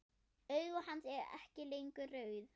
Augu hans ekki lengur rauð.